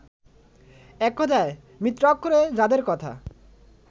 এককথায়, মিত্রাক্ষরে যাদের কথা